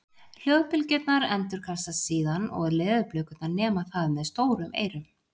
Hljóðbylgjurnar endurkastast síðan og leðurblökurnar nema það með stórum eyrum.